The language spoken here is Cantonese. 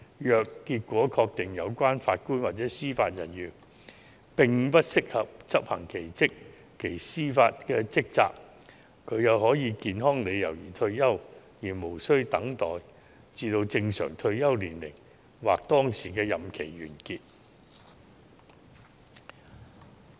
如果確定有關法官或司法人員不適合執行其司法職責，他可以因健康理由而退休，無須等待至正常退休年齡或當時的任期完結。